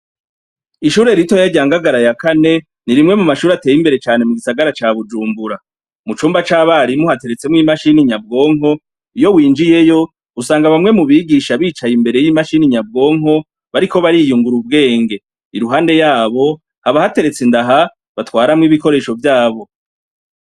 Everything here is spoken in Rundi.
Ishure ritoya rya Ngagara ya kane, ni rimwe mumashure ateye imbere cane mugisagara ca Bujumbura. Mucumba c'abarimu ,hateretsemwo imashini nyabwonko, iyo winjiyeyo usanga bamwe mubigisha bicaye imbere yimashini nyabwonka, bariko bariyungura ubwenge. Iruhande yabo haba hateretse indaha batwaramwo ibikoresho vyabo.